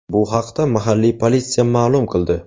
Bu haqda mahalliy politsiya ma’lum qildi .